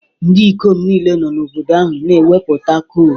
Ndị ikom niile nọ n'obodo ahụ na-egwupụta coal